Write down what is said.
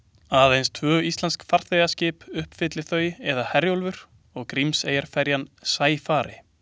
Aðeins tvö íslensk farþegaskip uppfylli þau eða Herjólfur og Grímseyjarferjan Sæfari.